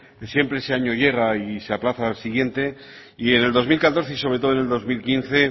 siempre ese año llega y se aplaza al siguiente y en el dos mil catorce y sobre todo en el dos mil quince